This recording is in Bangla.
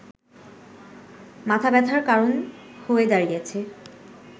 মাথাব্যথার কারণ হয়ে দাঁড়িয়েছে